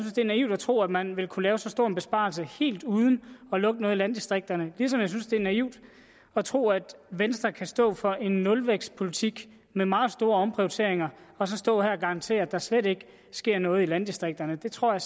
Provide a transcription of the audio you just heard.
det er naivt at tro at man vil kunne lave en så stor besparelse helt uden at lukke noget i landdistrikterne ligesom jeg synes at det er naivt at tro at venstre kan stå for en nulvækstpolitik med meget store omprioriteringer og så stå her og garantere at der slet ikke sker noget i landdistrikterne det tror jeg